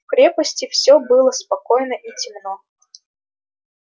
в крепости все было спокойно и темно